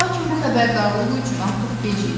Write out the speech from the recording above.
Lakin bu xəbərdarlığı üçün artıq gec idi.